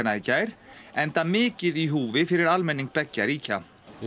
í gær enda mikið í húfi fyrir almenning beggja ríkja